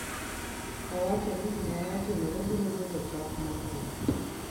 owachoni gimano timore biro bedo chak mar lweny